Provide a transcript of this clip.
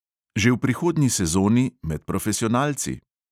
Že v prihodnji sezoni med profesionalci?